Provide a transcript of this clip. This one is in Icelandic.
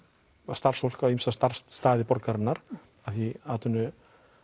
starfsfólk á ýmsa starfsstaði borgarinnar af því atvinnuleysi